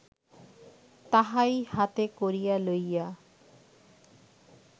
তাহাই হাতে করিয়া লইয়া